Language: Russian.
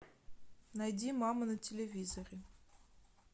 найди мама на телевизоре